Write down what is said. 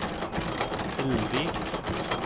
Hellvik